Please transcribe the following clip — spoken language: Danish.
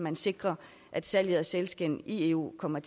at sikre at salget af sælskind i eu kommer